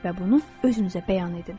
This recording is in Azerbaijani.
Və bunu özünüzə bəyan edin.